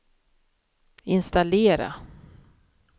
installera